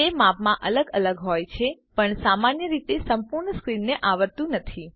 તે માપમાં અલગ અલગ હોય છે પણ સામાન્ય રીતે સંપૂર્ણ સ્ક્રીનને આવરતું નથી